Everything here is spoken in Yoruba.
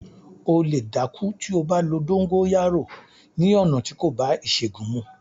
O lè dákú tí o bá lo “ dóńgóyárò” ni ọ̀nà tí kò bá ìṣègùn mu.